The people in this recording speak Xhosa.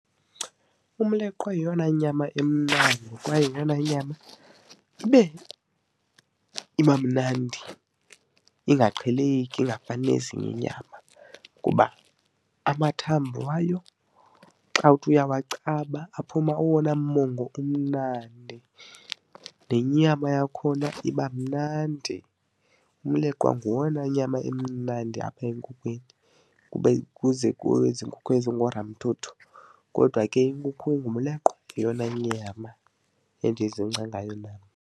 Umleqwa yiyona nyama emnandi kwaye yiyona nyama iba mnandi ingaqheleki ingafani nezinye inyama kuba amathambo wayo xa uthi uyawacaba aphuma owona mongo umnandi nenyama yakhona iba mnandi. Umleqwa nguwona nyama imnandi apha enkukhwini kube kuze kwezi nkukhu ezingoolamthuthu, kodwa ke inkukhu engumleqwa yeyona nyama endizingca ngayo.